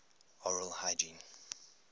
oral hygiene